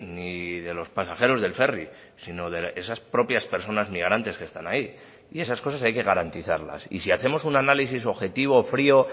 ni de los pasajeros del ferry sino de esas propias personas migrantes que están ahí y esas cosas hay que garantizarlas y si hacemos un análisis objetivo frio